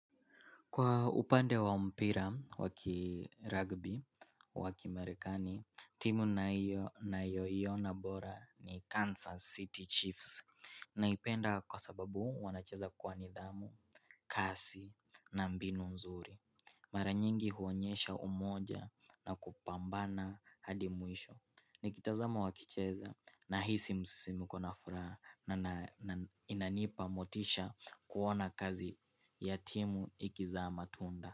Kwa upande wa mpira waki rugby, waki marekani, timu ninayo ninayoiona bora ni Kansas City Chiefs naipenda kwa sababu wanacheza kwa nidhamu, kasi na mbinu nzuri. Mara nyingi huonyesha umoja na kupambana hadi mwisho. Nikitazama wakicheza nahisi msisimko na furaha. Na inanipa motisha kuona kazi ya timu ikizaa matunda.